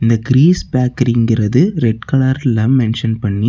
இது கிரீஸ் பேக்கரிங்குறது ரெட் கலர்ல மென்ஷன் பண்ணி.